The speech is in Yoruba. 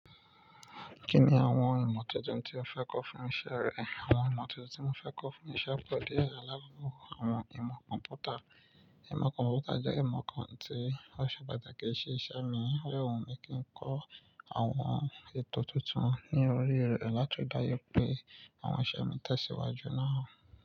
Kí ni àwọn ìmọ̀ tuntun tí o fẹ́ kọ fún iṣẹ́ rẹ? Àwọn ìmọ̀ tuntun tí mo fẹ́ kọ fún iṣẹ́ pọ̀ díẹ̀, àlákoko àwọn ìmọ̀ kọ̀ḿpútà. Ìmọ̀ kọ̀ḿpútà jẹ́ ìmọ̀ kan tí ó ṣe pàtàkì sí iṣẹ́ mi, ó de wu mi kí n kọ àwọn ètò tuntun ní orí rẹ̀ láti ri daju pé àwọn iṣẹ́ mi tẹ̀síwájú nárà.